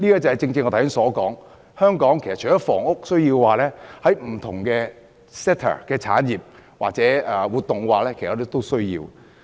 這正正是我剛才所說，香港除了有房屋需要，不同 sector、產業或活動也有其發展需要。